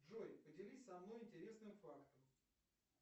джой поделись со мной интересным фактом